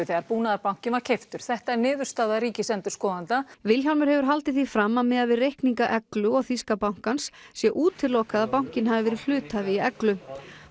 þegar Búnaðarbankinn var keyptur þetta er niðurstaða ríkisendurskoðenda Vilhjálmur hefur haldið því fram að miðað við reikninga Eglu og þýska bankans sé útilokað að bankinn hafi verið hluthafi í Eglu